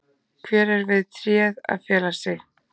Hver er við tréð að fela sig?